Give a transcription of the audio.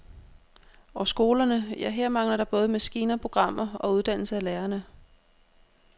Og skolerne, ja, her mangler der både maskiner, programmer og uddannelse af lærerne.